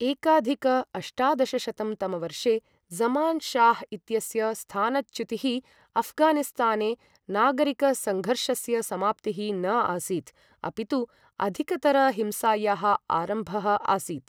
एकाधिक अष्टादशशतं तमवर्षे ज़मान् शाह् इत्यस्य स्थानच्युतिः अऴ्घानिस्ताने नागरिकसङ्घर्षस्य समाप्तिः न आसीत्, अपितु अधिकतरहिंसायाः आरम्भः आसीत्।